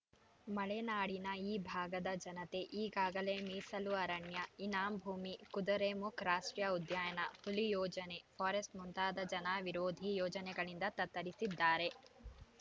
ಮಲೆನಾಡಿನ ಈ ಭಾಗದ ಜನತೆ ಈಗಾಗಲೇ ಮೀಸಲು ಅರಣ್ಯ ಇನಾಂ ಭೂಮಿ ಕುದುರೆಮುಖ್ ರಾಷ್ಟ್ರೀಯ ಉದ್ಯಾನ ಹುಲಿ ಯೋಜನೆ ಫಾರೆಸ್ಟ್‌ ಮುಂತಾದ ಜನ ವಿರೋಧಿ ಯೋಜನೆಗಳಿಂದ ತತ್ತರಿಸಿದ್ದಾರೆ